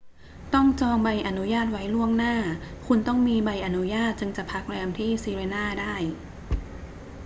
ต้องจองใบอนุญาตไว้ล่วงหน้า คุณต้องมีใบอนุญาตจึงจะพักแรมที่ sirena ได้